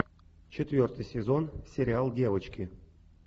четвертый сезон сериал девочки